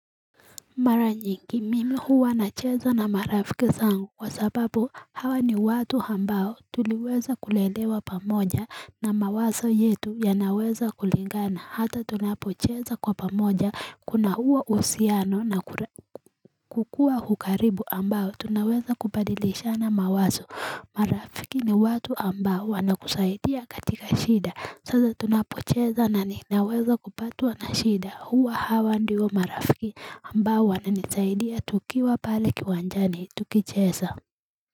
Mara nyingi mimi huwa nacheza na marafiki zangu kwa sababu hawa ni watu ambao tuliweza kulelewa pamoja na mawazo yetu yanaweza kulingana hata tunapocheza kwa pamoja kuna huwa uhusiano na kukua hukaribu ambao tunaweza kubadilishana mawazo marafiki ni watu ambao wanakusaidia katika shida. Sasa tunapocheza na ninaweza kupatwa na shida. Huwa hawa ndio marafiki ambao wananisaidia tukiwa pale kiwanjani tukicheza.